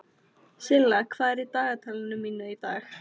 Silla, hvað er í dagatalinu mínu í dag?